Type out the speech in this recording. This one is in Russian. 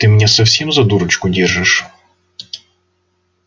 ты меня совсем за дурочку держишь